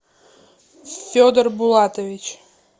федор булатович